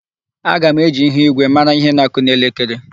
Aga m eji ihuigwe mara ihe na-akụ n'elekere.